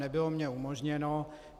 Nebylo mně umožněno.